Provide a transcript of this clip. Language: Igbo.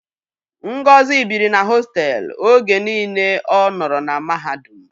Ngozi biri na hostelu oge niile ọ nọrọ na mahadum.